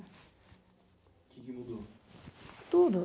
Tudo